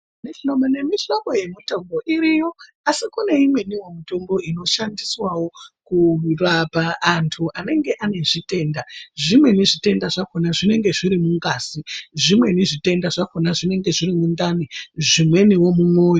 Mihlobo nemihlobo yemitombo iriyo asi kune imweni mitombo inoshandiswawo kurapa antu anenge ane zvitenda zvimweni zvitenda zvakona zvinenge zviri mungazi zvimweni zvitenda zvakona zvinenge zviri mundani zvimweniwo mumwoyo.